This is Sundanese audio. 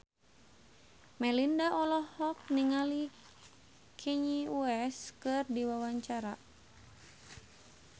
Melinda olohok ningali Kanye West keur diwawancara